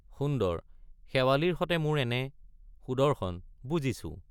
সুন্দৰ—শেৱালিৰ সতে মোৰ এনে— সুদৰ্শন—বুজিছো।